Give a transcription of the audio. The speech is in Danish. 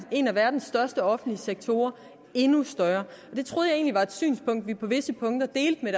en af verdens største offentlige sektorer endnu større det troede jeg egentlig var et synspunkt vi på visse punkter delte med